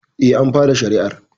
Eh, an fara shari'ar